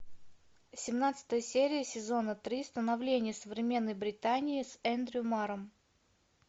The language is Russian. семнадцатая серия сезона три становление современной британии с эндрю марром